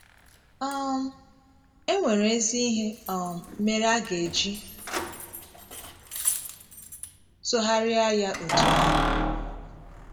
um È nwere ezi ihe um mere a ga - eji sụgharịa ya otú ahụ?